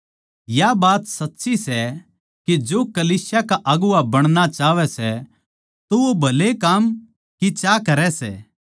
या बात सच्ची सै के जो कलीसिया का अगुवां बणणा चाहवै सै तो वो भले काम की चाह करै सै